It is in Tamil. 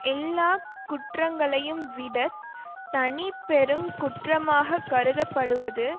எல்லா குற்றங்களையும் விட தனிப்பெருங் குற்றமாக கருதப்படுவது